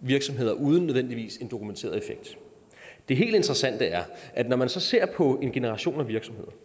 virksomheder uden nødvendigvis en dokumenteret effekt det helt interessante er at når man så ser på en generation af virksomheder og